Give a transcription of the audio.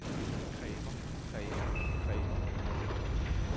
kræver kræver kræver